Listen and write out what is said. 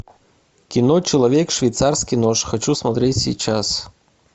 кино человек швейцарский нож хочу смотреть сейчас